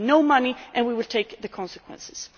There will be no money and we will take the consequences.